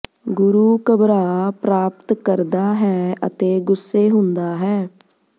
ਗੁਰੂ ਘਬਰਾ ਪ੍ਰਾਪਤ ਕਰਦਾ ਹੈ ਅਤੇ ਗੁੱਸੇ ਹੁੰਦਾ ਹੈ